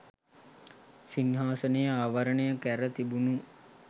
සිංහාසනය ආවරණය කැර තිබුණු